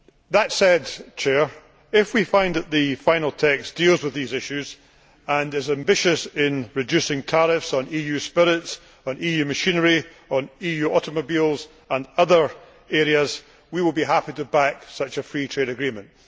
That said, if we find that the final text deals with these issues and is ambitious in reducing tariffs on EU spirits, on EU machinery, on EU automobiles and other areas, we will be happy to back such a free trade agreement.